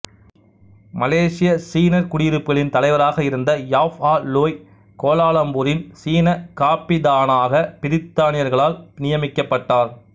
மலேசிய சீனர் குடியிருப்புகளின் தலைவராக இருந்த யாப் ஆ லோய் கோலாலம்பூரின் சீன காப்பிதானாக பிரி்த்தானியர்களால் நியமிக்கப்பட்டார்